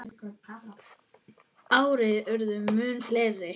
Árin urðu mun fleiri.